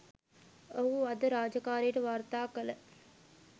ඔහු අද රාජකාරියට වාර්තා කළ